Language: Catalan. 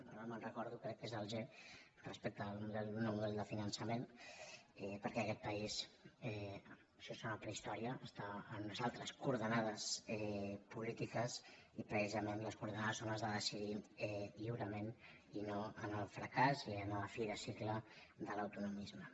ara no me’n recordo crec que és el g res·pecte a un nou model de finançament perquè aquest país això sona a prehistòria està en unes altres coor·denades polítiques i precisament les coordenades són les de decidir lliurement i no el fracàs i la fi del cicle de l’autonomisme